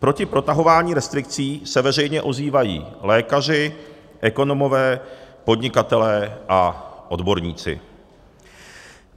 Proti protahování restrikcí se veřejně ozývají lékaři, ekonomové, podnikatelé a odborníci.